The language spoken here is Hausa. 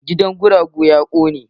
Gidan guragu ya kone.